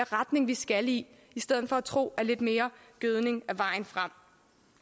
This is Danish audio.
retning vi skal i i stedet for at tro at lidt mere gødning er vejen frem